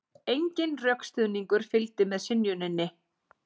Enginn rökstuðningur fylgdi með synjuninni